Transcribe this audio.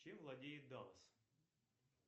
чем владеет даллас